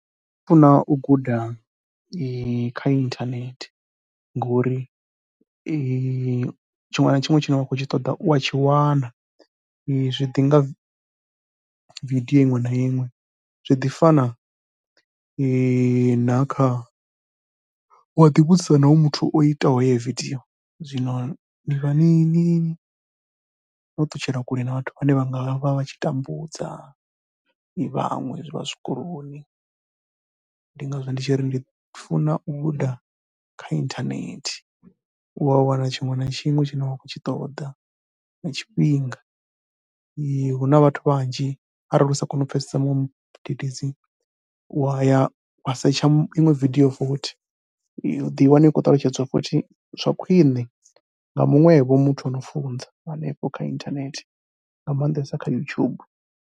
Nṋe ndi funa u guda kha inthanethe ngori tshiṅwe na tshiṅwe tshine wa khou tshi ṱoḓa u a tshi wana. Zwi ḓi nga video iṅwe na iṅwe, zwi ḓi fana na kha, u a ḓivhudzisa na hoyo muthu o itaho heyo video, zwino ni vha ni ni ni, no ṱutshela kule na vhathu vhane vha nga vha vha tshi tambudza, vhaṅwe vha zwikoloni. Ndi ngazwo ndi tshi ri ndi funa u guda kha inthanethe, u ya wana tshiṅwe na tshiṅwe tshine wa khou tshi ṱoḓa nga tshifhinga. Hu na vhathu vhanzhi arali u sa koni u pfhesesa muṅwe mudededzi, u wa ya wa setsha iṅwe video futhi. U ḓo i wana i khou ṱalutshedziwa futhi zwa khwiṋe nga muṅwevho muthu a no funza hanefho kha inthanethe nga maanḓesa kha YouTube.